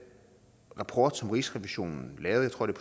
rapport som rigsrevisionen lavede jeg tror det